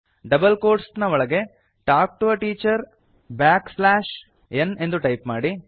double quotes ಒಳಗೆTalk to a teacher backslash n ಎಂದು type ಮಾಡಿ